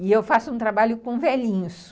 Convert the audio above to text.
E eu faço um trabalho com velhinhos.